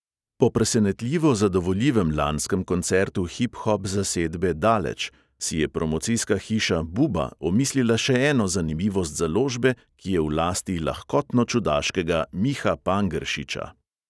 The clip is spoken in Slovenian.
Po presenetljivo zadovoljivem lanskem koncertu hiphop zasedbe daleč si je promocijska hiša buba omislila še eno zanimivost založbe, ki je v lasti lahkotno čudaškega miha pangeršiča.